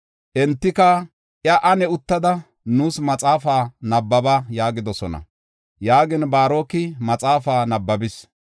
Entika iya, “Ane uttada, nuus maxaafaa nabbaba” yaagidosona. Yaagin Baaroki maxaafaa nabbabis.